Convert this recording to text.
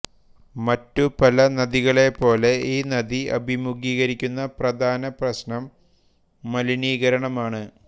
മറ്റു പല നദികളെപ്പോലെ ഈ നദി അഭിമുഖീകരിക്കുന്ന പ്രധാന പ്രശ്നം മലിനീകരണമാണ്